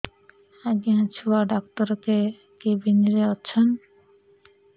ଆଜ୍ଞା ଛୁଆ ଡାକ୍ତର କେ କେବିନ୍ ରେ ଅଛନ୍